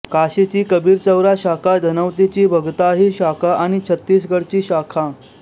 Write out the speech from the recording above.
काशीची कबीरचौरा शाखा धनौतीची भगताही शाखा आणि छत्तीसगडची शाखा